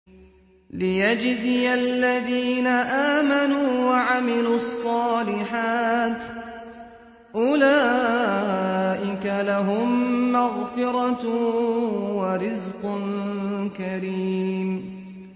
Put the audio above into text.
لِّيَجْزِيَ الَّذِينَ آمَنُوا وَعَمِلُوا الصَّالِحَاتِ ۚ أُولَٰئِكَ لَهُم مَّغْفِرَةٌ وَرِزْقٌ كَرِيمٌ